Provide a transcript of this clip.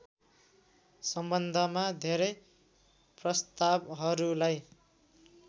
सम्बन्धमा धेरै प्रस्तावहरूलाई